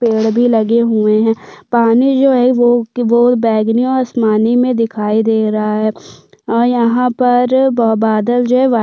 पेड़ भी लगे हुए है पानी जो है वो क वो बैगनी और आसमानी मै दिखाई दे रहा है और यहाँ पर बाह बदल जो है वाइट --